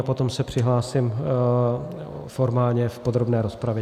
A potom se přihlásím formálně v podrobné rozpravě.